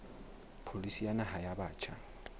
pholisi ya naha ya batjha